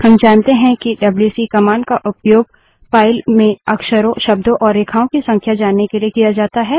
हम जानते हैं कि डब्ल्यू सी कमांड का उपयोग फाइल में अक्षरों शब्दों और रेखाओं की संख्या जानने के लिए किया जाता है